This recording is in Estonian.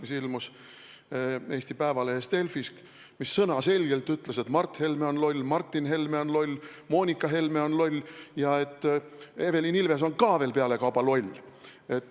See ilmus Eesti Päevalehe nime all Delfis ja ütles selge sõnaga, et Mart Helme on loll, Martin Helme on loll, Moonika Helme on loll ja pealekauba ka Evelin Ilves on loll.